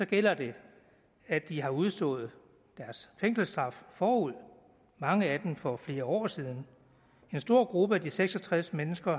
gælder det at de har udstået deres fængselsstraf forud mange af dem for flere år siden en stor gruppe af de seks og tres mennesker